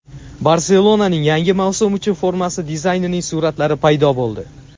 "Barselona"ning yangi mavsum uchun formasi dizaynining suratlari paydo bo‘ldi;.